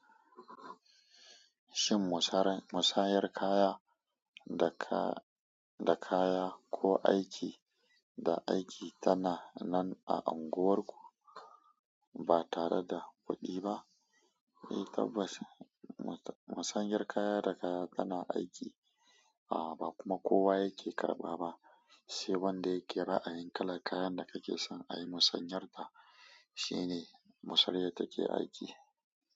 Shin musayar kaya da kaya ko aiki da aiki tana nan a unguwarku ba tare da kuɗi ba? Mai tabbacin musayar kaya da kaya tana aiki, a ba kuma kowa yake karɓa ba, sai wanda yake ra'ayin kalan kayan da kake son a yi musanyar ta, shine musayar da take aiki.